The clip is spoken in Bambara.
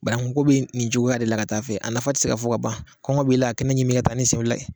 Bananku ko bi nin cogoya de la ka taa fɛ, a nafa ti se ka fɔ ka ban kɔngɔ b'i la a kɛnɛ ɲimi i ka taa ni sen fila ye.